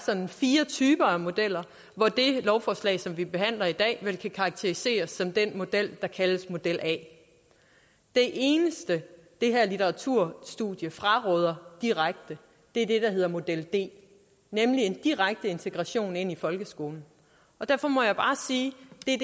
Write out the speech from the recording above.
sådan er fire typer af modeller hvor det lovforslag som vi behandler i dag vel kan karakteriseres som den model der kaldes model a det eneste det her litteraturstudie fraråder direkte er det der hedder model d nemlig en direkte integration i folkeskolen derfor må jeg bare sige